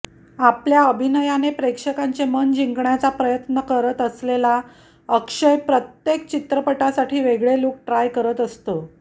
आपल्या अभिनयाने प्रेक्षकांचे मन जिंकण्याचा प्रयत्नात असलेला अक्षय प्रत्येक चित्रपटासाठी वेगळा लुक ट्राय करत असतो